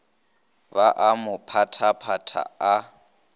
ba a mo phaphatha a